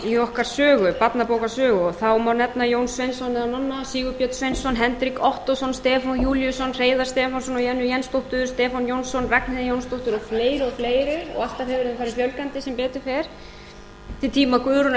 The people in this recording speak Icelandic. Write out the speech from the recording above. í okkar barnabókasögu og þá má nefna jón sveinsson eða manna sigurgeir sveinsson hendrik ottósson stefán júlíusson hreiðar stefánsson og jennu jensdóttur stefán jónsson ragnheiði jónsdóttur og fleiri og fleiri og alltaf hefur þeim farið fjölgandi sem betur fer eftir tíma guðrúnar